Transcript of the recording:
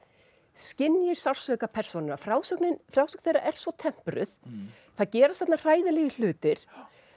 skynji sársauka persónanna frásögn þeirra er svo tempruð það gerast þarna hræðilegir hlutir